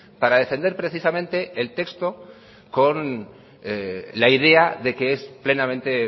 para defender precisamente el texto con la idea de que es plenamente